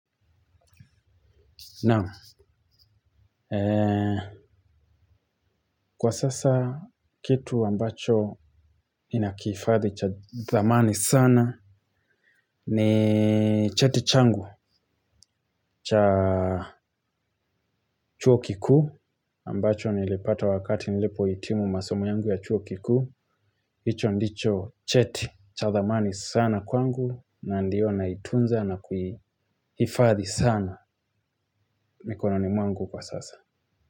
Naam, kwa sasa kitu ambacho ninakifadhi cha dhamani sana ni cheti changu cha chuo kikuu ambacho nilipata wakati nilipo hitimu masomu yangu ya chuo kikuu. Hicho ndicho cheti cha dhamani sana kwangu na ndio naitunza na kuhifadhi sana mikononi mwangu kwa sasa.